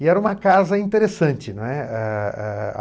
E era uma casa interessante, né, eh eh